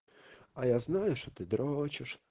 а я знаю что ты дрочишь